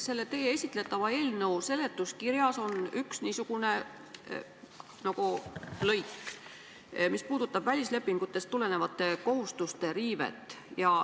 Selle teie esitletava eelnõu seletuskirjas on üks lõik, mis puudutab välislepingutest tulenevate kohustuste riivet.